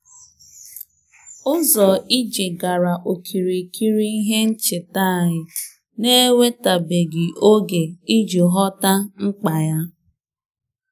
Ụzọ ije ahụ gbachiri gburugburu ihe ncheta anyị na-ewepụtabeghị oge iji ghọta ya